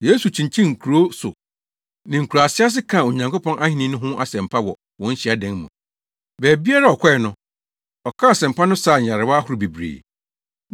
Yesu kyinkyinii nkurow so ne nkuraa ase kaa Onyankopɔn Ahenni no ho asɛmpa wɔ wɔn hyiadan mu. Baabiara a ɔkɔe no, ɔkaa asɛmpa no saa nyarewa ahorow bebree.